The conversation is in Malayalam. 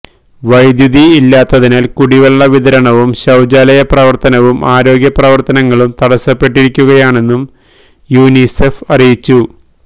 വൈദ്യുതി ഇല്ലാത്തതിനാല് കുടിവെള്ള വിതരണവും ശൌചാലയ പ്രവര്ത്തനവും ആരോഗ്യ പ്രവര്ത്തനങ്ങളും തടസ്സപ്പെട്ടിരിക്കുകയാണെന്നും യുനിസെഫ് അറിയിച്ചു